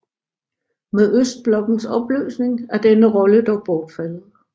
Med østblokkens opløsning er denne rolle dog bortfaldet